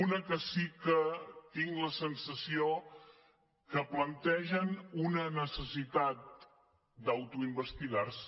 una que sí que tinc la sensació que plantegen una necessitat d’autoinvestigar se